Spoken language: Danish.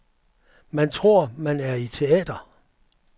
Man tror man er i teater.